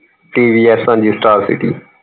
TVS ਹਾਂਜੀ starcity